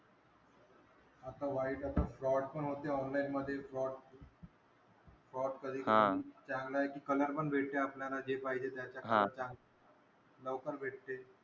आता वाईट असं fraud पण होते online मधे fraud. Fraud चांगलं आहे कि color पण भेटते आपल्याला जे पाहिजे त्याचा color चा. लवकर भेटते.